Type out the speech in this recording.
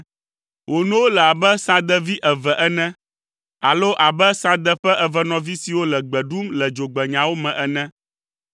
Wò nowo le abe sãdevi eve ene alo abe sãde ƒe evenɔvi siwo le gbe ɖum le dzogbenyawo me ene.